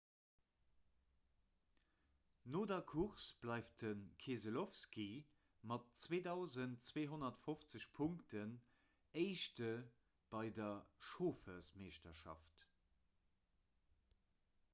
no der course bleift de keselowski mat 2 250 punkten éischte bei der chauffermeeschterschaft